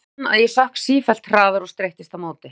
Ég fann að ég sökk sífellt hraðar og streittist á móti.